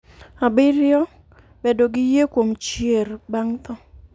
Abiriyo, Bedo gi yie kuom chier bang' tho.